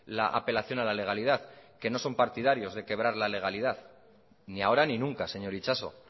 la apelación a la legalidad que no son partidarios de quebrar la legalidad ni ahora ni nunca señor itxaso